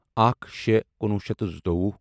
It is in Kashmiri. اکھ شےٚ کُنوُہ شیٚتھ تہٕ زٕتووُہ